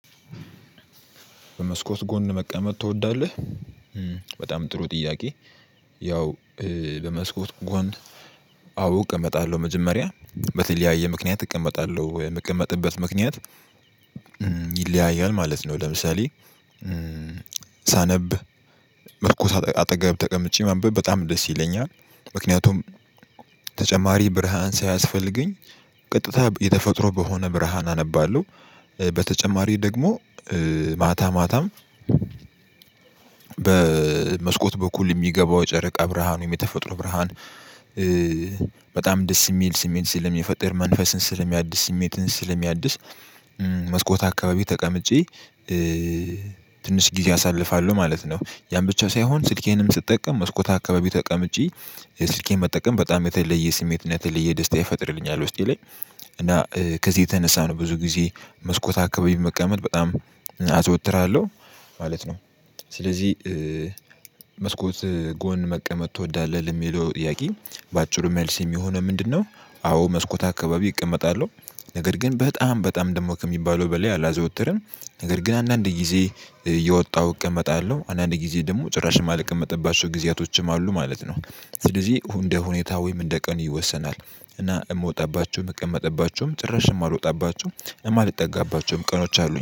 በመስኮት ጎን መቀመጥ ትወዳለህ በጣም ጥሩ ጥያቄ። ያው በመስኮት ጎን አዎ እቀመጣለሁ መጀመሪያ በተለያየ ምክንያት እቀመጣለሁ የምቀመጥበት ምክንያት። ይለያያል ማለት ነው። ለምሳሌ ሳነብ መስኮት አጠገብ ተቀምጬ ማንበብ በጣም ደስ ይለኛል። ምክንያቱም ተጨማሪ ብርሃን ሳያስፈልገኝ ቀጥታ የተፈጥሮ በሆነ ብርሃን አነባለሁ። በተጨማሪ ደግሞ ማታ ማታም በመስኮት በኩል የሚገባው ጨረቃ ብርሃኑ የተፈጥሮ ብርሃን። በጣም ደስ የሚል ስሜት ስለሚፈጥር መንፈስን ስለሚያድስ ስሜትን ስለሚያድስ። መስኮት አካባቢ ተቀምጬ ትንሽ ጊዜ አሳልፋለሁ ማለት ነው። ያን ብቻ ሳይሆን ስልኬንም ስትጠቀም መስኮታ አካባቢ ተቀምጬ ስልኬን መጠቀም በጣም የተለየ ስሜት እና ደስታ ይፈጥርልኛል። ውስጤ ላይ እና ከዚህ የተነሳ ነው ብዙ ጊዜ መስኮት አካባቢ መቀመጥ በጣም አዘወትራለሁ ማለት ነው። ስለዚህ መስኮት ጎን መቀመጥ ትወዳለህ ለሚለው ጥያቄ በአጭሩ መልስ የሚሆነው ምንድነው? አዎ መስኮት አካባቢ እቀመጣለሁ። ነገር ግን በጣም በጣም ደግሞ ከሚባለው በላይ አላዘወትርም። ነገር ግን አንዳንድ ጊዜ እየወጣሁ እቀመጣለሁ አንዳንድ ጊዜ ደግሞ ጭራሽ የማልቀመጥባቸው ጊዜያቶችም አሉ ማለት ነው። ስለዚህ እንደ ሁኔታ ወይም እንደ ቀን ይወሰናል። እና የምወጣባቸው የምቀመጥባቸውም ጭራሽ የማልወጣባቸውም የማልጠጋባቸውም ቀኖች አሉኝ